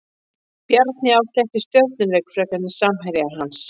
Bjarni átti ekki stjörnuleik frekar en samherjar hans.